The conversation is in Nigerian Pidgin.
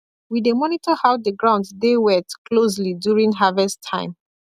we dey monitor how the ground dey wet closely during harvest time